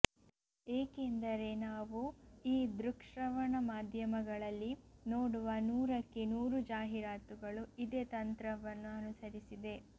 ಏಕೆಂದರೆ ನಾವು ಈ ದೃಕ್ಶ್ರವಣ ಮಾಧ್ಯಮಗಳಲ್ಲಿ ನೋಡುವ ನೂರಕ್ಕೆ ನೂರು ಜಾಹೀರಾತುಗಳು ಇದೇ ತಂತ್ರವನ್ನು ಅನುಸರಿಸಿದೆ